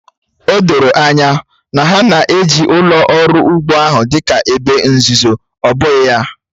O doro anya na ha na-eji ụlọ ọrụ ugbo ahụ dị ka ebe nzuzo, ọ bụghị ya?